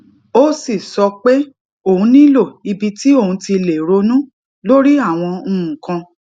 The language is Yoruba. ó sì sọ pé òun nílò ibi tí òun ti lè ronú lórí àwọn nǹkan